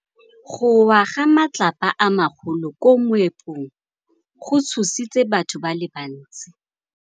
Go wa ga matlapa a magolo ko moepong go tshositse batho ba le bantsi.